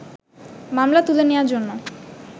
মামলা তুলে নেওয়ার জন্য